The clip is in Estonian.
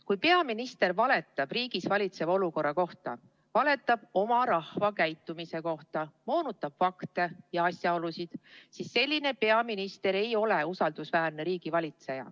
Kui peaminister valetab riigis valitseva olukorra kohta, valetab oma rahva käitumise kohta, moonutab fakte ja asjaolusid, siis selline peaminister ei ole usaldusväärne riigivalitseja.